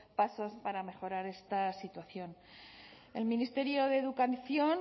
pasos para mejorar esta situación el ministerio de educación